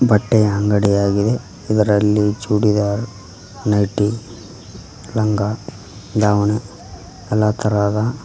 ಬಟ್ಟೆಯ ಅಂಗಡಿಯಾಗಿದೆ ಇದರಲ್ಲಿ ಚೂಡಿದಾರ್ ನೈಟಿ ಲಂಗ ದಾವಣ ಎಲ್ಲ ತರಹದ--